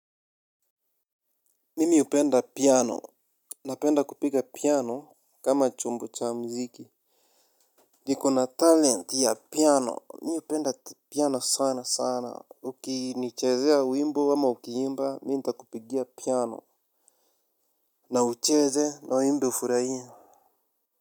Mimi hupenda piano, napenda kupiga piano kama chombo cha muziki. Niko na talent ya piano, mimi hupenda piano sana sana, ukinichezea wimbo ama ukiimba, mimi nitakupigia piano. Na ucheze na uimbe ufurahie.